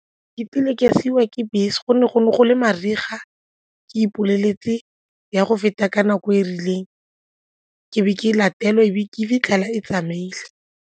Ke kile ka siiwa ke bese go ne go le mariga ke ipoleletse e ya go feta ka nako e e rileng ke be ke latelwa e be ke fitlhela e tsamaile.